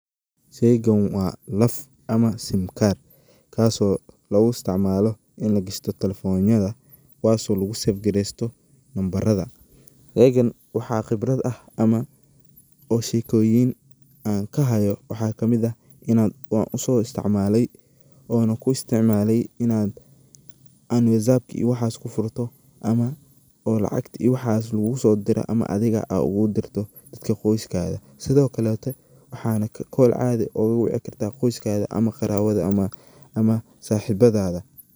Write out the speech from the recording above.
Sheygaan waa laf ama sim card kasoo lagu isticmalo ini lagishto talefonyada kuwaso lagu sefgaresto nambarada. Sheygaan waxa qibrad ah ama oo shekoyin ankahayo waxa kamid ah inan so istimaalay oona ku isticmalay inan whatsappka iyo waxas kufurto ama oo lacagta iyo waxas lagugu sodiro ama adhiga aa ogu dirto dadka qoyskaga , sidokaleto waxana kol adhi ogu wici karta qoyskaga ama qarabada ama saxibadada.